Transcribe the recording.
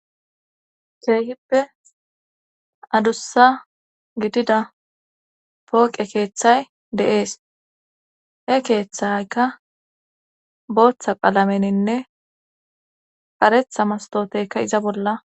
keehippe adussa gidida pooqe keeththay deees e keeththayka booththa qalameninne qaretha mastooteyka iza bolla